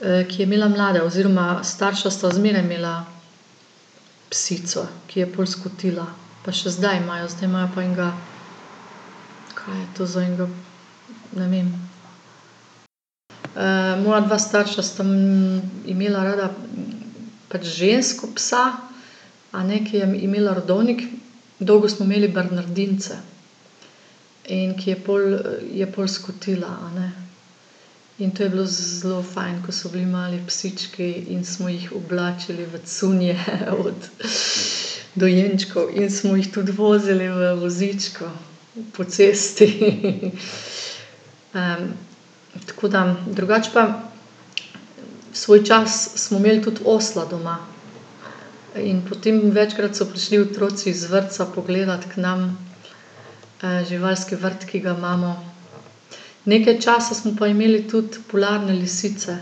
ki je imela mlade, oziroma starša sta zmeraj imela psico, ki je pol skotila. Pa še zdaj imajo. Zdaj imajo pa enega, kva je to za enega, ne vem. moja dva starša sta, imela rada pač žensko psa, a ne, ki je imela rodovnik. Dolgo smo imeli bernardince. In ki je pol, je pol skotila, a ne. In to je bilo zelo fajn, ko so bili mali psički in smo jih oblačili v cunje od dojenčkov in smo jih tudi vozili v vozičku po cesti, tako da ... Drugače pa svoj čas smo imeli tudi osla doma. In potem večkrat so prišli otroci iz vrtca pogledati k nam, živalski vrt, ki ga imamo. Nekaj časa smo pa imeli tudi polarne lisice.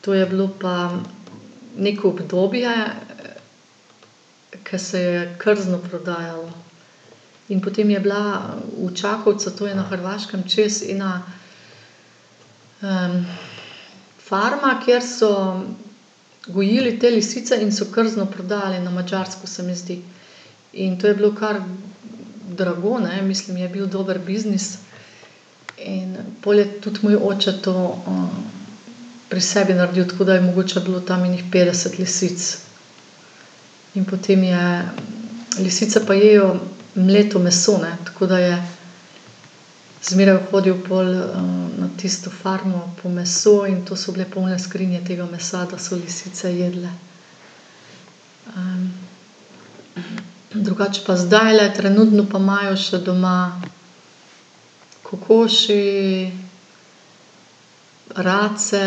To je bilo pa neko obdobje, ko se je krzno prodajalo. In potem je bila v Čakovcu, to je na Hrvaškem čez, ena, farma, kjer so gojili te lisice in so krzno prodajali na Madžarsko, se mi zdi. In to je bilo kar drago, ne, mislim, je bil dober biznis. In pol je tudi moj oče to, pri sebi naredil, tako da je mogoče bilo tam ene petdeset lisic. In potem je, lisice pa jejo mleto meso, ne, tako da je zmeraj hodili pol, na tisto farmo po meso in to so bile polne skrinje tega mesa, da so lisice jedle. drugače pa zdajle, trenutno, pa imajo še doma kokoši, race,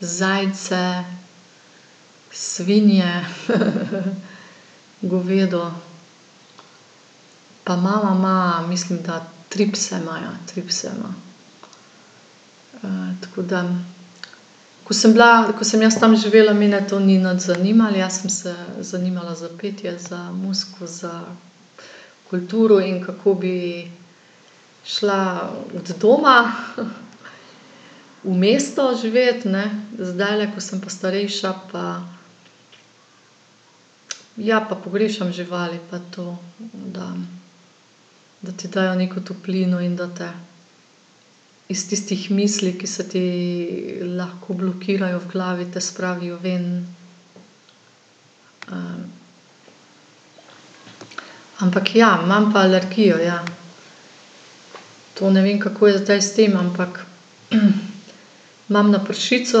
zajce, svinje, govedo pa mama ima, mislim, da tri pse imajo, tri pse ima. tako da ko sem bila, ko sem jaz tam živela, mene to ni nič zanimalo, jaz sem se zanimala za petje, za muziko, za kulturo in kako bi šla od doma, v mesto živet, ne, zdajle, ko sem pa starejša, pa, ja, pa pogrešam živali pa to, da, da ti dajo neko toplino in da te iz tistih misli, ki se ti lahko blokirajo v glavi, te spravijo ven. ampak ja, imam pa alergijo, ja. To ne vem, kako je zdaj s tem, ampak, imam na pršico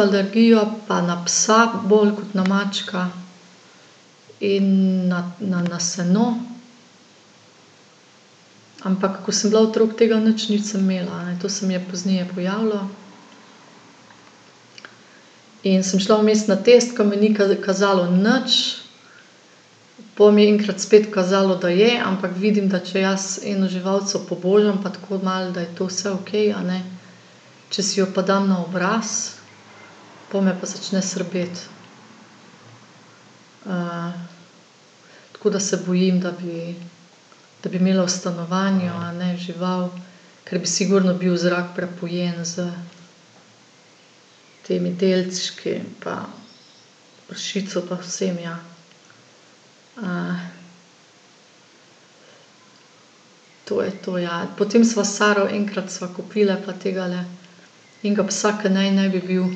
alergijo pa na psa bolj kot na mačka. In na, na, na seno. Ampak ko sem bila otrok, tega nič nisem imela, a ne, to se mi je pozneje pojavilo. In sem šla vmes na tisti, ke mi ni ni kazalo nič, pol mi je enkrat spet kazalo, da je, ampak vidim, da če jaz eno živalico pobožam pa tako malo, da je to vse okej, a ne, če si jo pa dam na obraz, pol me pa začne srbeti. tako da se bojim, da bi, da bi imela v stanovanju, a ne, žival, ker bi sigurno bil zrak prepojen s temi delčki pa pršico pa vsem, ja. to je to, ja. Potem sva s Saro, enkrat sva kupili pa tegale, enega psa, ke naj ne bi bil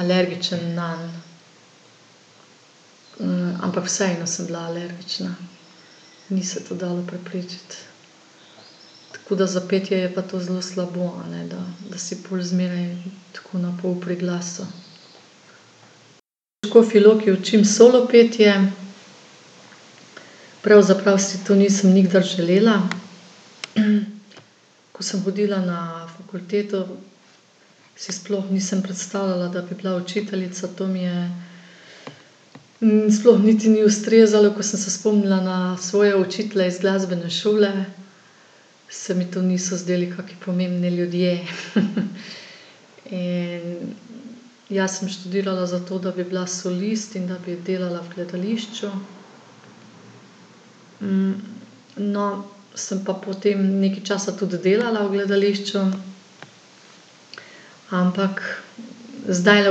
alergičen nanj. ampak vseeno sem bila alergična. Ni se to dalo preprečiti. Tako da za petje je pa to zelo slabo, a ne, da, da si pol zmeraj tako na pol pri glasu. V Škofji Loki učim solopetje. Pravzaprav si to nisem nikdar želela. ko sem hodila na fakulteto, si sploh nisem predstavljala, da bi bila učiteljica, to mi je, sploh niti ni ustrezalo. Ko sem se spomnila na svoje učitelje iz glasbene šole, se mi to niso zdeli kaki pomembni ljudje. In jaz sem študirala za to, da bi bila solist in da bi delala v gledališču, no, sem pa potem nekaj časa tudi delala v gledališču. Ampak zdajle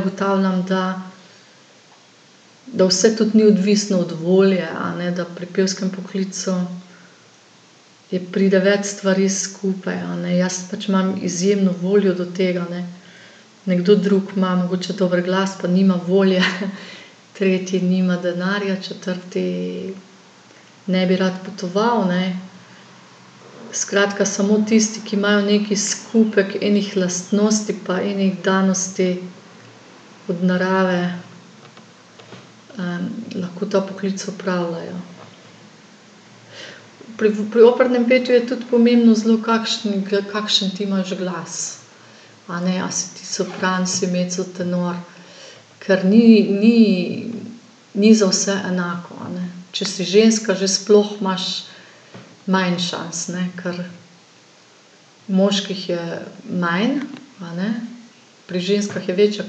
ugotavljam, da, da vse tudi ni odvisno od volje, a ne, da pri pevskem poklicu je, pride več stvari skupaj, a ne, jaz pač imam izjemno voljo do tega, ne, nekdo drug ima mogoče dober glas, pa nima volje, tretji nima denarja, četrti ne bi rad potoval, ne. Skratka, samo tisti, ki majo neki skupek enih lastnosti pa ene danosti od narave, lahko ta poklic opravljajo. Pri, pri opernem petju je tudi pomembno zelo, kakšen kakšen ti imaš glas, a ne, a si ti sopran, si mezzotenor, ker ni, ni, ni za vse enako, a ne. Če si ženska, že sploh imaš manj šans, ne, ker moških je manj, a ne, pri ženskah je večja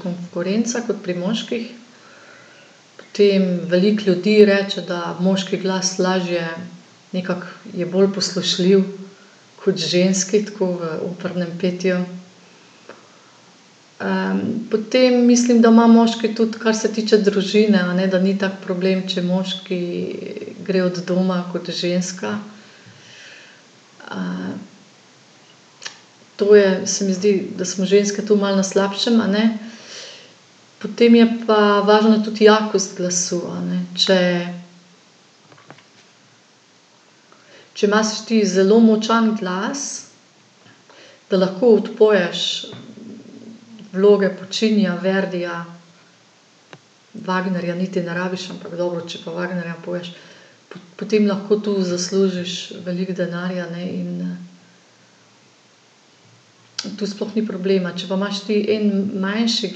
konkurenca kot pri moških. Potem, veliko ljudi reče, da moški glas lažje nekako, je bolj poslušljiv kot ženski, tako, v opernem petju. potem, mislim, da ima moški tudi, kar se tiče družine, a ne, da ni tak problem, če moški gre od doma kot ženska. to je, se mi zdi, da smo ženske tu malo na slabšem, a ne. Potem je pa važna tudi jakost glasu, a ne. Če, če imaš ti zelo močan glas, da lahko odpoješ vloge Puccinija, Verdija, Wagnerja niti ne rabiš, ampak dobro, če pa Wagnerja poješ, potem lahko tu zaslužiš veliko denarja, ne, in, tu sploh ni problema. Če pa imaš ti en manjši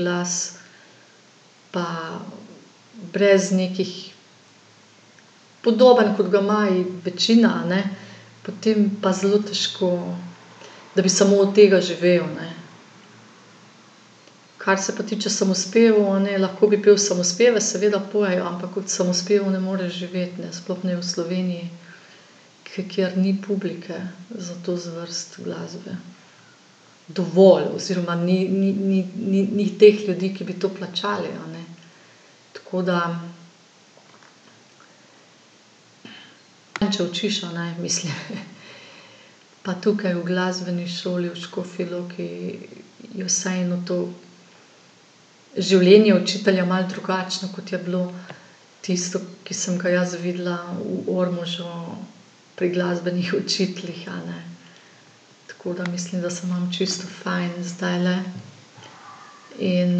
glas, pa brez nekih, podoben, kot ga ima večina, a ne, potem pa zelo težko, da bi samo od tega živel, ne. Kar se pa tiče samospevov, a ne, lahko bi pel samospeve, seveda pojejo, ampak od samospevov ne moreš živeti, ne. Sploh ne v Sloveniji, kjer ni publike za to zvrst glasbe. Dovolj, oziroma ni, ni, ni, ni, ni teh ljudi, ki bi to plačali, a ne. Tako da ... Ne, če učiš, a ne, mislim. Pa tukaj v glasbeni šoli v Škofji Loki je vseeno to življenje učitelja malo drugačno, kot je bilo tisto, ki sem ga jaz videla v Ormožu pri glasbenih učiteljih, a ne. Tako da mislim, da se imam čisto fajn zdajle. In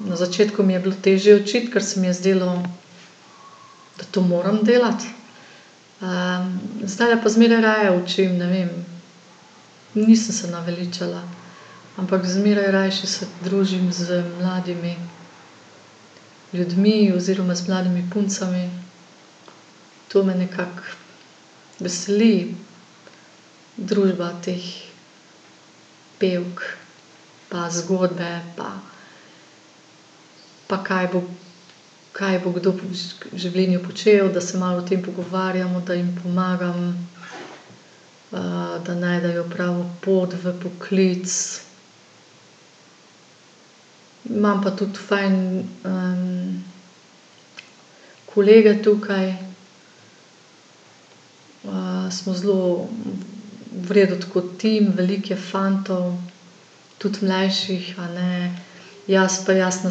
na začetku mi je bilo težje učiti, ker se mi je zdelo, da to moram delati, zdajle pa zmeraj raje učim, ne vem, nisem se naveličala. Ampak zmeraj rajši se družim z mladimi ljudmi oziroma z mladimi puncami. To me nekako veseli, družba teh pevk pa zgodbe pa pa kaj bo, kaj bo kdo v življenju počel, da se malo o tem pogovarjamo, da jim pomagam, da najdejo pravo pot v poklic. Imam pa tudi fajn kolege tukaj. smo zelo v redu, tako, tim, veliko je fantov, tudi mlajših, a ne. Jaz pa [ime in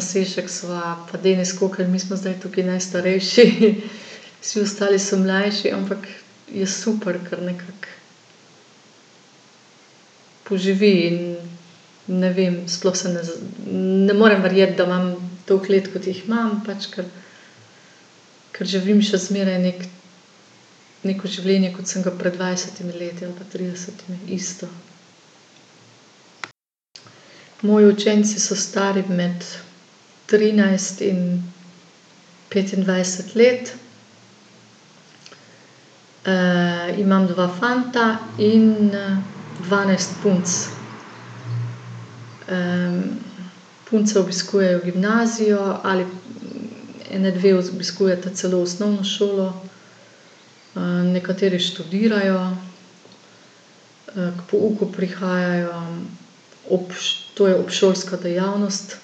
priimek] sva, pa [ime in priimek], mi smo zdaj tukaj najstarejši. Vsi ostali so mlajši, ampak je super, kar nekako poživi in, ne vem, sploh se ne ne morem verjeti, da imam toliko let, kot jih imam pač, ker, ker živim še zmeraj neki, neko življenje, kot sem ga pred dvajsetimi leti ali pa tridesetimi. Isto. Moji učenci so stari med trinajst in petindvajset let. imam dva fanta in, dvanajst punc. punce obiskujejo gimnazijo ali, ene dve obiskujeta celo osnovno šolo, nekateri študirajo. k pouku prihajajo, ob to je obšolska dejavnost,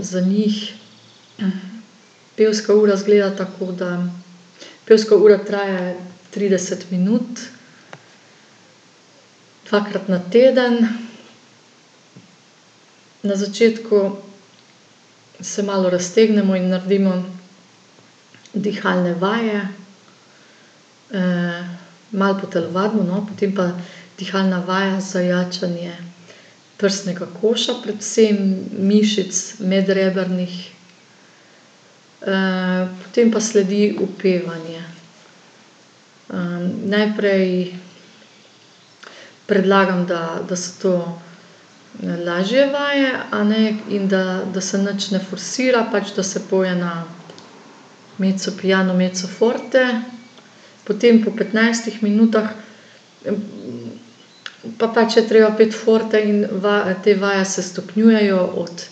za njih, Pevska ura izgleda tako, da pevska ura traja trideset minut, dvakrat na teden. Na začetku se malo raztegnemo in naredimo dihalne vaje, malo potelovadimo, no, potem pa dihalna vaja za jačanje prsnega koša, predvsem mišic medrebrnih. potem pa sledi upevanje. najprej predlagam, da, da so to lažje vaje, a ne, in da, da se nič ne forsira, pač da se poje na mezzopiano, mezzoforte. Potem po petnajstih minutah, pa pač je treba peti forte in te vaje se stopnjujejo od,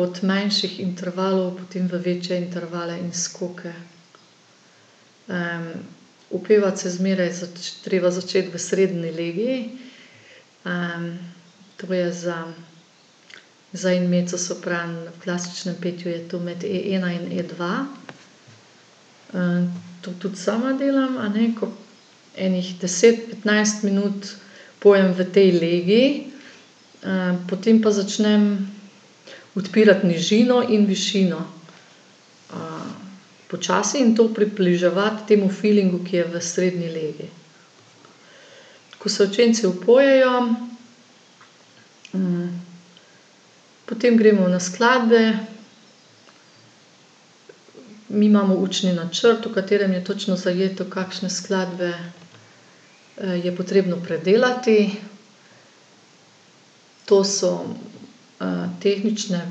od manjših intervalov potem v večje intervale in skoke. upevati se zmeraj treba začeti v srednji legi, to je za, za en mezzosopran v klasičnem petju je to med e ena in e dva. to tudi sama delam, a ne, ko ene deset, petnajst minut pojem v tej legi, potem pa začnem odpirati nižino in višino. počasi in to približevati temu filingu, ki je v srednji legi. Ko se učenci upojejo, potem gremo na skladbe. Mi imamo učni načrt, v katerem je točno zajeto, kakšne skladbe, je potrebno predelati. To so, tehnične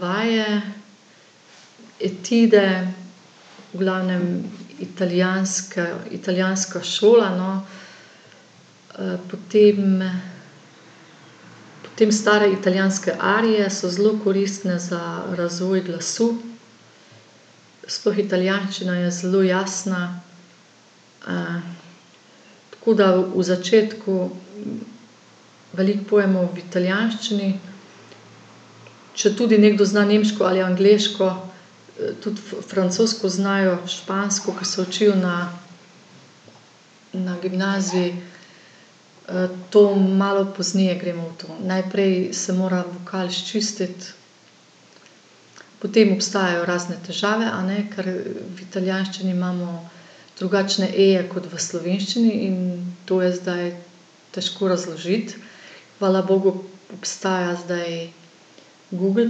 vaje, etide, v glavnem italijanske, italijanska šola, no. potem, potem stare italijanske arije so zelo koristne za razvoj glasu. Sploh italijanščina je zelo jasna, tako da v začetku veliko pojemo v italijanščini. Četudi nekdo zna nemško ali angleško, tudi francosko znajo, špansko, ke se učijo na, na gimnaziji, to malo pozneje gremo v to. Najprej se mora vokal sčistiti. Potem obstajajo razne težave, a ne, ker v italijanščini imamo drugačne eje kot v slovenščini in to je zdaj težko razložiti. Hvala bogu obstaja zdaj Google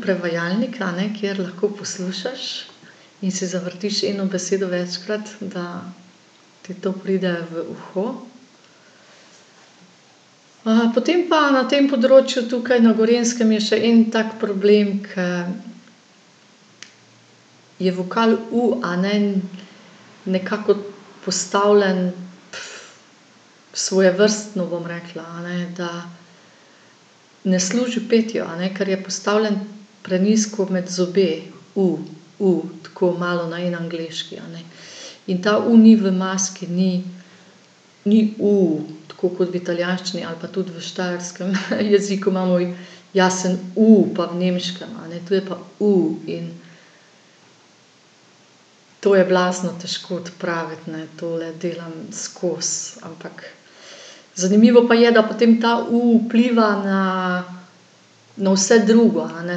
prevajalnik, a ne, kjer lahko poslušaš in si zavrtiš eno besedo večkrat, da ti to pride v uho. Potem pa, na tem področju, tukaj na Gorenjskem je še en tak problem, ker je vokal u, a ne, nekako postavljen, svojevrstno, bom rekla, a ne. Da ne služi petju, a ne, ker je postavljen prenizko med zobe. U, u, tako malo, na en angleški, a ne. In ta u ni v maski, ni, ni u, tako kot v italijanščini ali pa tudi v štajerskem, jeziku imamo jasen u, pa v nemškem, a ne. To je pa u in to je blazno težko odpraviti, ne, tole delam skozi, ampak ... Zanimivo pa je, da potem ta u vpliva na, na vse drugo, a ne,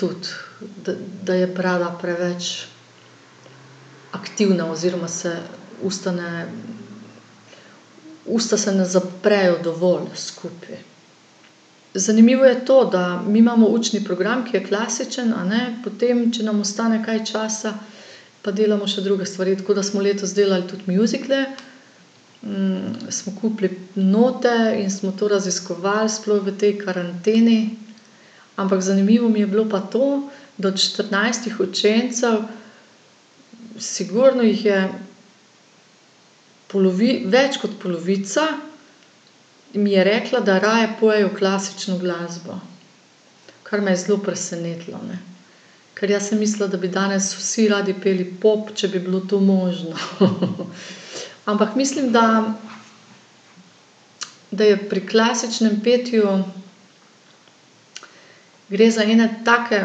tudi, da, da je prava preveč aktivna oziroma se usta ne, usta se ne zaprejo dovolj skupaj. Zanimivo je to, da mi imamo učni program, ki je klasičen, a ne, potem, če nam ostane kaj časa, pa delamo še druge stvari, tako da smo letos delal tudi mjuzikle, smo kupili note in smo to raziskovali, sploh v tej karanteni. Ampak zanimivo mi je bilo pa to, da od štirinajstih učencev sigurno jih je več kot polovica mi je rekla, da raje pojejo klasično glasbo. Kar me je zelo presenetilo, ne. Ker jaz sem mislila, da bi danes vsi radi peli pop, če bi bilo to možno, Ampak mislim, da, da je pri klasičnem petju, gre za ene take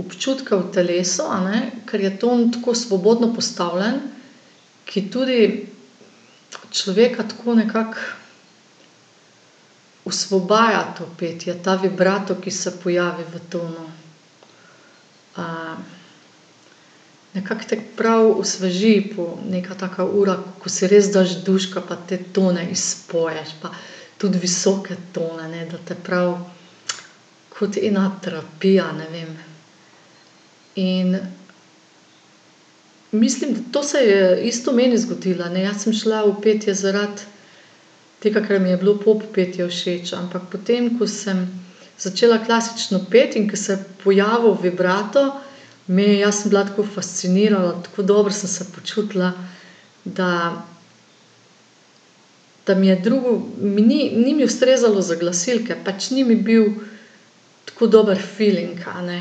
občutke v telesu, a ne, ker je ton tako svobodno postavljen, ki tudi človeka tako nekako osvobaja to petje, ta vibrato, ki se pojavi v tonu. nekako te prav osveži neka taka ura, ko si res daš duška pa te tone izpoješ pa tudi visoke tone, ne, da te prav, kot ena terapija, ne vem. In mislim, to se je isto meni zgodilo, a ne, jaz sem šla v petje zaradi tega, ker mi je bilo pop petje všeč, ampak potem, ko sem začela klasično peti in ko se je pojavil vibrato, meni, jaz sem bila tako fascinirana, tako dobro sem se počutila, da, da mi je drugo, mi ni, ni mi ustrezalo za glasilke, pač ni mi bil tako dober filing, a ne.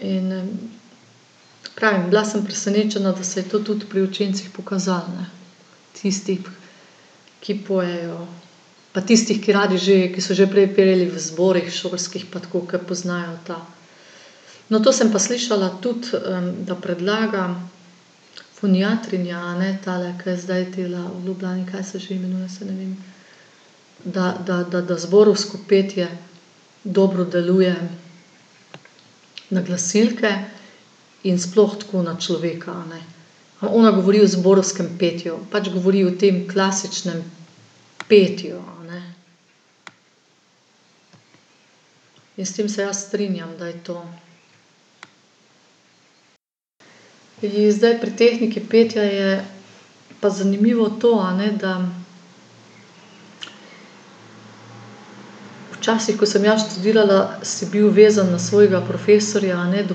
In, pravim, bila sem presenečena, da se je to tudi pri učencih pokazalo, ne. Tistih, ki pojejo, pa tistih, ki radi že, ki so že prej peli v zborih šolskih pa tako, ke poznajo ta. No, to sem pa slišala tudi, da predlaga foniatrinja, a ne, tale, ke zdaj dela v Ljubljani, kaj se že imenuje, saj ne vem, da, da, da, da zborovsko petje dobro deluje na glasilke in sploh tako, na človeka, a ne. Pa ona govori o zborovskem petju, pač govori o tem klasičnem petju, a ne. In s tem se jaz strinjam, da je to. In zdaj pri tehniki petja je pa zanimivo to, a ne, da včasih, ko sem jaz študirala, si bil vezan na svojega profesorja, a ne, do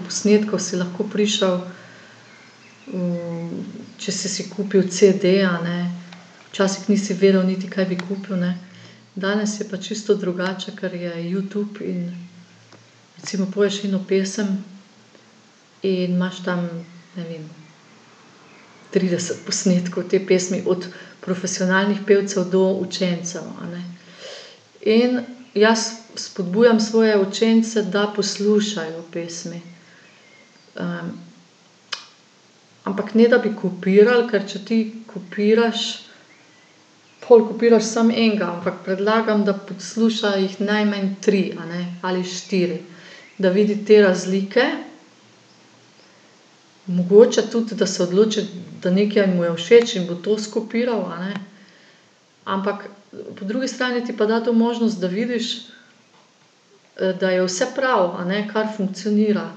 posnetkov si lahko prišel, če si si kupil cede, a ne. Včasih nisi vedel niti, kaj bi kupil, ne. Danes je pa čisto drugače, ker je Youtube in recimo poješ eno pesem in imaš tam, ne vem, trideset posnetkov te pesmi od profesionalnih pevcev do učencev, a ne. In jaz spodbujam svoje učence, da poslušajo pesmi. ampak ne, da bi kopirali, ker če ti kopiraš, pol kopiraš samo enega, ampak predlagam, da poslušajo jih najmanj tri, a ne, ali štiri. Da vidi te razlike. Mogoče tudi, da se odloči, da nekaj mu je všeč in bo to skopiral, a ne. Ampak po drugi strani ti pa da to možnost, da vidiš, da je vse prav, a ne, kar funkcionira.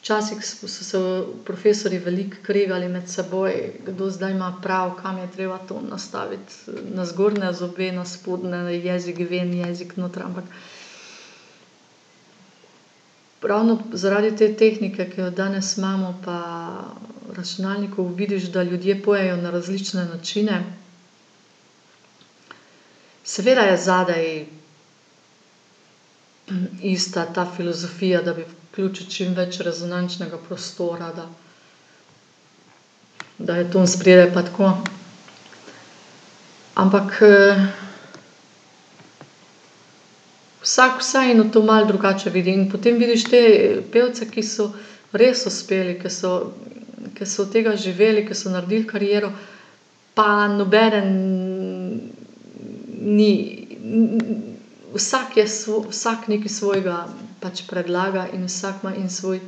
Včasih so se profesorji veliko kregali med seboj, kdo zdaj ima prav, kam je treba tam nastaviti, na zgornje zobe, na spodnje, jezik ven, jezik noter. Ampak ravno zaradi te tehnike, ki jo danes imamo, pa računalnikov vidiš, da ljudje pojejo na različne načine. Seveda je zadaj ista ta filozofija, da bi vključil čim več rezonančnega prostora, da, da je ton spredaj pa tako, ampak, vsak vseeno to malo drugače vidi. In potem vidiš te, pevce, ki so res uspeli, ke so, ker so od tega živeli, ke so naredili kariero, pa nobeden, ni, vsak je vsak nekaj svojega pač predlaga in vsak ima en svoj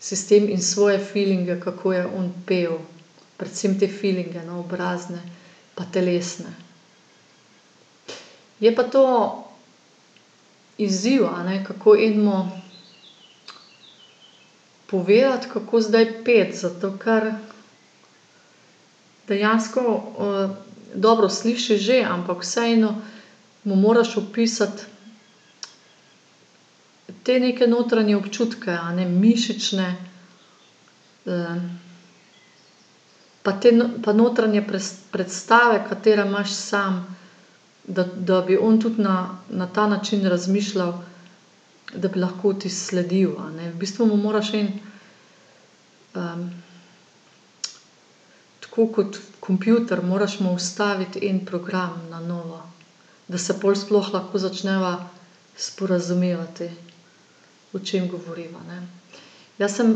sistem in svoje filinge, kako je on pel. Predvsem te filinge, no, obrazne pa telesne. Je pa to izziv, a ne, kako enemu povedati, kako zdaj peti. Zato ker dejansko, dobro, slišiš že, ampak vseeno mu moraš opisati te neke notranje občutke, a ne, mišične, pa te notranje predstave, katere imaš sam. Da, da bi on tudi na, na ta način razmišljal, da bi lahko ti sledil, a ne. V bistvu mu moraš en, tako kot kompjuter, moraš mu vstaviti en program na novo, da se pol sploh lahko začneva sporazumevati, o čem govoriva, ne. Jaz sem,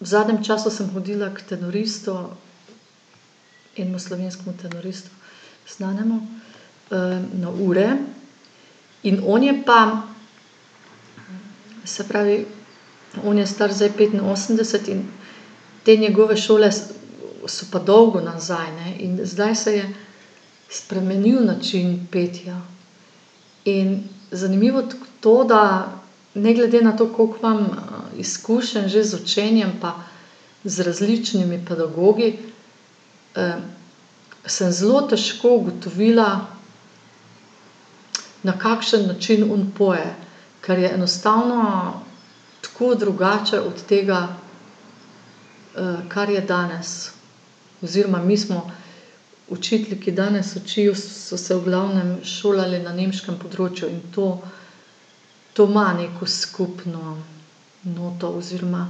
v zadnjem času sem hodila k tenoristu, enemu slovenskemu tenoristu znanemu, na ure in on je pa, se pravi, on je star zdaj petinosemdeset in te njegove šole so pa dolgo nazaj, a ne. In zdaj se je spremenil način petja. In zanimivo to, da ne glede na to, koliko imam, izkušenj že z učenjem pa z različnimi pedagogi, sem zelo težko ugotovila, na kakšen način on poje. Ker je enostavno tako drugače od tega, kar je danes oziroma mi smo, učitelji, ki danes učijo, so se v glavnem šolali na nemškem področju. In to, to ima neko skupno noto oziroma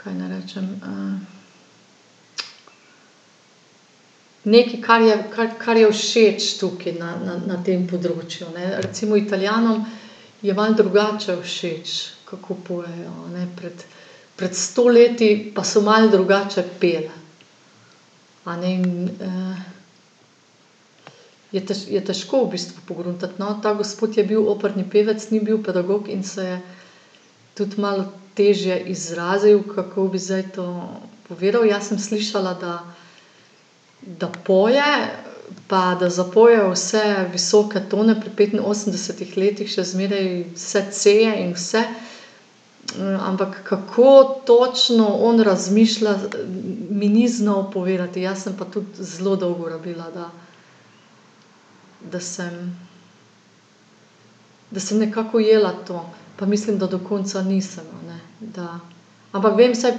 nekaj, kaj naj rečem, nekaj, kar je, kar, kar je všeč tukaj na, na, na tem področju, ne. Recimo Italijanom je malo drugače všeč, kako pojejo, a ne, pred, pred sto leti pa so malo drugače peli, a ne. In, je je težko v bistvu pogruntati, no. Ta gospod je bil operni pevec, ni bil pedagog, in se je tudi malo težje izrazil, kako bi zdaj to povedal. Jaz sem slišala, da, da poje, pa da zapoje vse visoke tone pri petinosemdesetih letih še zmeraj vse c-eje in vse. ampak kako točno on razmišlja, mi ni znal povedati, jaz sem pa tudi zelo dolgo rabila, da, da sem, da sem nekako ujela to. Pa mislim, da do konca nisem, a ne, da ... Ampak vem vsaj